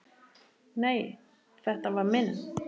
Nei, þetta var minn